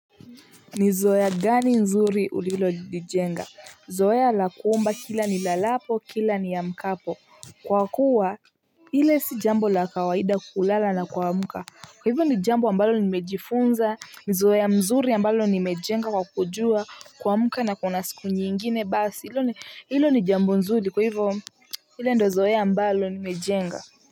Nizoea gani nzuri ulilolijenga zoea la kuumba kila nilalapo kila niamkapo kwa kuwa ile si jambo la kawaida kulala na kuamka kwa hivyo ni jambo ambalo nimejifunza. Nizoea mzuri ambalo nimejenga kwa kujua kuamka na kuna siku nyingine basi hilo ni hilo ni jambo nzuri kwa hivyo ile ndo zoea ambalo nimejenga.